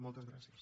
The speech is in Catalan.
moltes gràcies